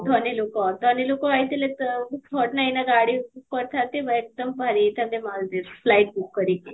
ଧନୀ ଲୋକ ଧନୀ ଲୋକ ହେଇଥିଲେ ତ ମୁଁ ନା ଏଇନା ଗାଡି book କରିଥାନ୍ତି, ମୁଁ ଏକଦମ ବାହାରି ଯାଇଥାନ୍ତି Maldives flight book କରିକି